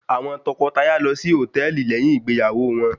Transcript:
Àwọn tọkọtaya lọ sí hòtẹ́ẹ̀lì lẹ́yìn ìgbéyàwó wọn.